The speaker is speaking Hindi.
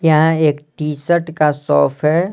यहाँ एक टी शर्ट का सॉफ है।